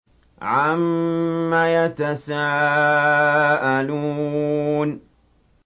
عَمَّ يَتَسَاءَلُونَ